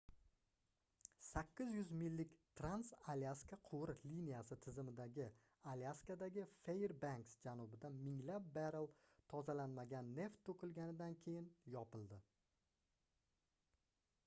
800 millik trans-alyaska quvur liniyasi tizimi alyaskadagi fairbanks janubida minglab barrel tozalanmagan neft toʻkilganidan keyin yopildi